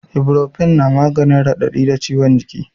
Iborofen na maganin raɗaɗi da ciwon jiki